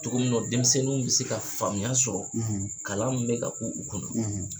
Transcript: Cogo min nɔ denmisɛnninw bi se ka faamuya sɔrɔ , kalan mun bɛ ka k'u u kunna